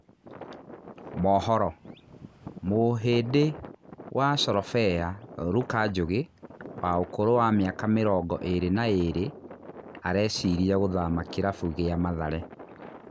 (Mohoro) Mũhĩ ndi wa Corobea Ruka Njũgĩ wa ũkũrũ wa mĩ aka mĩ rongo ĩ rĩ na ĩ rĩ arecirĩ a gũthama kĩ rabu gĩ a Mathare.